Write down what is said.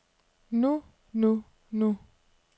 nu nu nu